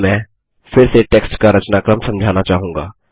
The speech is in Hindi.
अब मैं फिर से टेक्स्ट का रचनाक्रम समझाना चाहूँगा